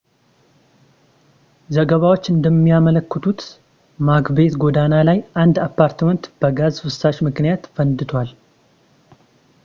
ዘገባዎች እንደሚያመለክቱት ማክቤት ጎዳና ላይ አንድ አፓርትመንት በጋዝ ፍሳሽ ምክንያት ፈንድቷል